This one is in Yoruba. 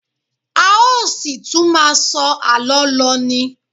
A ó ṣì tún máà sọ àlọ́ lọ ni.